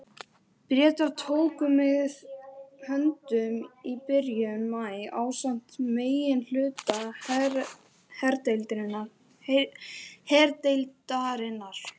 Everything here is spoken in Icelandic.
Bretar tóku mig höndum í byrjun maí ásamt meginhluta herdeildarinnar.